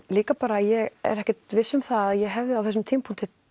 líka bara að ég er ekkert viss um það að ég hefði á þessum tímapunkti